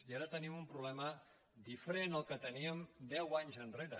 i ara tenim un problema diferent del que teníem deu anys enrere